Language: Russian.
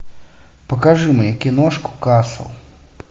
покажи мне киношку касл